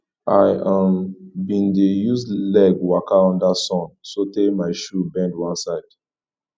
i um bin dey use leg waka under sun sotee my shoe bend one side